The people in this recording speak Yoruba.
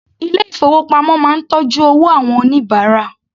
Ilé ìfowópamọ́ máa ń tọ́jú owó àwọn oníbàárà.